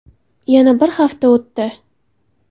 Yana bir hafta o‘tdi.